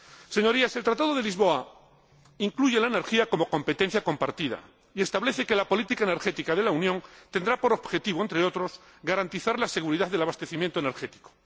Señorías, el Tratado de Lisboa incluye la energía como competencia compartida y establece que la política energética de la Unión tendrá por objetivo, entre otros, garantizar la seguridad del abastecimiento energético.